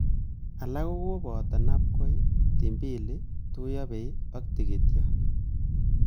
Alak kokoboto nabkoi, timbili, tuiyabei ak tigityo